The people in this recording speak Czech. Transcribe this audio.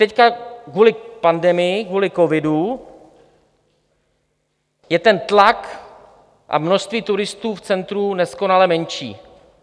Teď, kvůli pandemii, kvůli covidu, je ten tlak a množství turistů v centru neskonale menší.